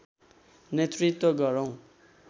नेतृत्व गरौं